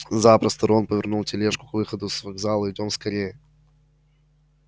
запросто рон повернул тележку к выходу с вокзала идём скорее